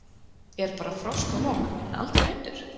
Er bara frost og logn en aldrei vindur?